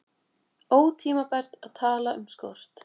Ótímabært að tala um skort